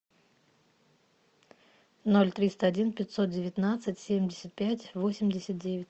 ноль триста один пятьсот девятнадцать семьдесят пять восемьдесят девять